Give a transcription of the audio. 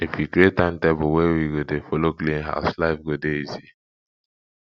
if we create timetable wey we go dey folo clean house life go dey easy